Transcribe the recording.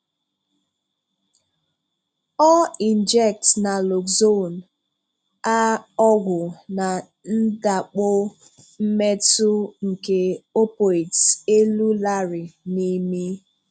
Ọ injects naloxone, a ọgwụ na ndàkpò mmetù nke opioids, elu Larry n’imi.